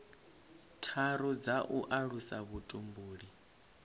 tharu dza u alusa vhutumbuli